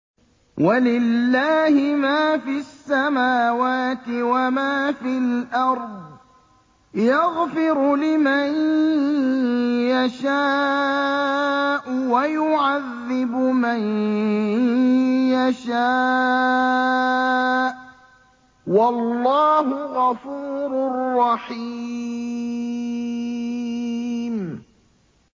وَلِلَّهِ مَا فِي السَّمَاوَاتِ وَمَا فِي الْأَرْضِ ۚ يَغْفِرُ لِمَن يَشَاءُ وَيُعَذِّبُ مَن يَشَاءُ ۚ وَاللَّهُ غَفُورٌ رَّحِيمٌ